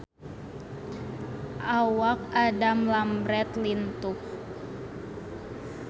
Awak Adam Lambert lintuh